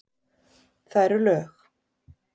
Það eru lög.